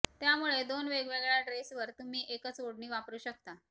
त्यामुळे दोन वेगवेगळ्या ड्रेसवर तुम्ही एकच ओढणी वापरू शकता